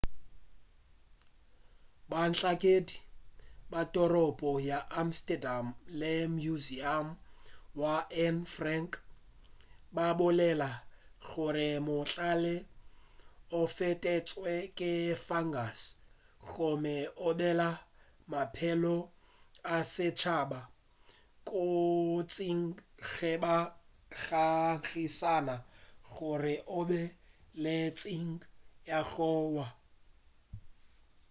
bahlankedi ba toropo ya amsterdam le museum wa anne frank ba bolela gore mohlare o fetetšwe ke fungus gomme o bea maphelo a setšhaba kotsing ge ba ngangišana gore o be o le kotsing ya go wa